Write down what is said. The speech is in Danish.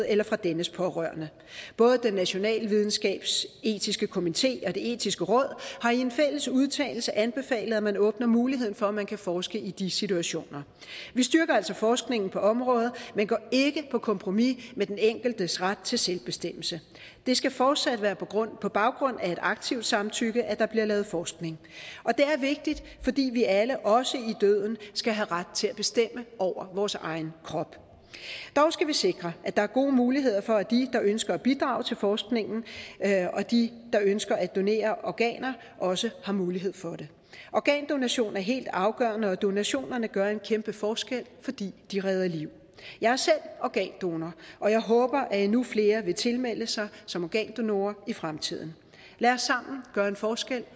eller fra dennes pårørende national videnskabsetisk komité og det etiske råd har i en fælles udtalelse anbefalet at man åbner muligheden for at man kan forske i de situationer vi styrker altså forskningen på området men går ikke på kompromis med den enkeltes ret til selvbestemmelse det skal fortsat være på baggrund af et aktivt samtykke at der bliver lavet forskning og det er vigtigt fordi vi alle også i døden skal have ret til at bestemme over vores egen krop dog skal vi sikre at der er gode muligheder for at de der ønsker at bidrage til forskningen og de der ønsker at donere organer også har mulighed for det organdonation er helt afgørende og donationerne gør en kæmpe forskel fordi de redder liv jeg er selv organdonor og jeg håber at endnu flere vil tilmelde sig som organdonor i fremtiden lad os sammen gøre en forskel